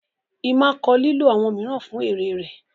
Emma kọ lilo awọn miiran fun ere rẹ